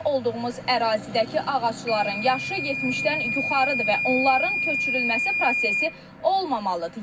İndi olduğumuz ərazidəki ağacların yaşı 70-dən yuxarıdır və onların köçürülməsi prosesi olmamalıdır.